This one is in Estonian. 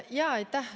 Aitäh!